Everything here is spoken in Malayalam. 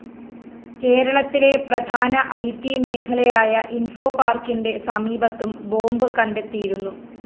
കേരളത്തിലെ പ്രധാന ഇ ട്‌ മേഖലയായ ഇന്‍ഫോപാര്‍ക്കിന്റെ സമീപത്തും ബോംബ്‌ കണ്ടെത്തിയിരുന്നു